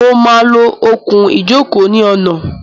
Mo máa lo okùn-ìjókòó ní ọ̀nà.